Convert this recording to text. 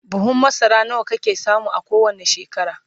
buhun masara nawa kake samu a kowani shekara?